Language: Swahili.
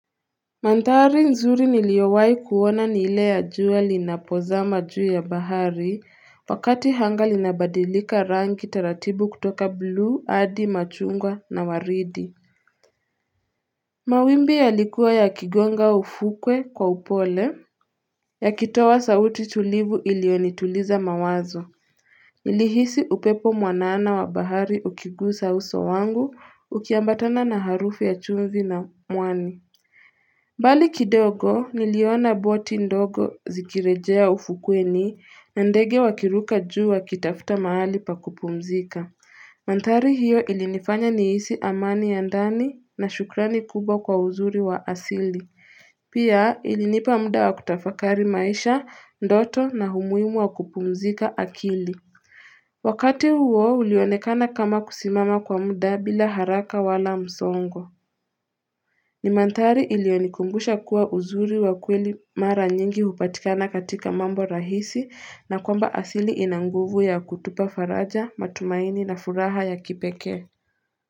Mandhari nzuri niliowai kuona ni ile ya jua linapozama juu ya bahari, wakati hanga linabadilika rangi taratibu kutoka blue, hadi, machungwa na waridi. Mawimbi yalikuwa yakigonga ufukwe kwa upole. Yakitoa sauti tulivu iliyonituliza mawazo. Nilihisi upepo mwanana wa bahari ukigusa uso wangu, ukiambatana na harufu ya chumvi na mwani. Mbali kidogo niliona boti ndogo zikirejea ufukweni na ndege wakiruka juu wakitafuta mahali pa kupumzika. Mandhari hiyo ilinifanya nihisi amani ya ndani na shukrani kubwa kwa uzuri wa asili. Pia ilinipa muda wa kutafakari maisha, ndoto na umuhimu wa kupumzika akili. Wakati huo ulionekana kama kusimama kwa muda bila haraka wala msongo. Nimandhari iliyonikumbusha kuwa uzuri wa kweli mara nyingi hupatikana katika mambo rahisi na kwamba asili ina nguvu ya kutupa faraja, matumaini na furaha ya kipekee.